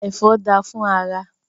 Ẹfọ da fún ara.